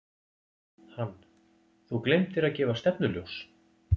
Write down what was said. Hann: Þú gleymdir að gefa stefnuljós.